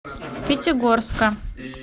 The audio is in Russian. пятигорска